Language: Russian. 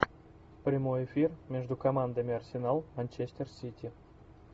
прямой эфир между командами арсенал манчестер сити